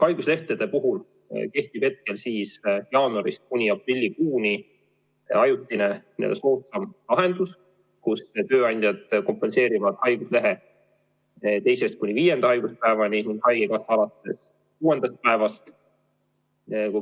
Haiguslehtede puhul kehtib jaanuarist kuni aprillikuuni ajutine ja soodsam lahendus: tööandjad kompenseerivad haiguslehe teisest kuni viienda haiguspäevani, haigekassa alates kuuendast päevast.